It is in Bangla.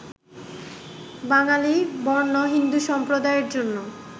বাঙালি বর্ণ-হিন্দু সম্প্রদায়ের জন্য